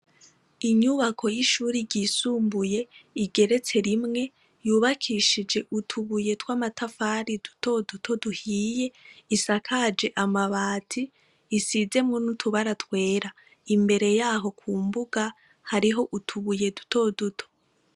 Inyubako y'ishuri ryisumbuye igeretse rimwe yubakishije utubuye tw'amatafari dutoduto duhiye, isakaje amabati; isizemwo n'utubara twera. Imbere y'aho ku mbuga, hariho utubuye dutoduto.